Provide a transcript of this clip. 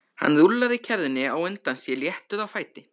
Hann rúllaði kerrunni á undan sér léttur á fæti.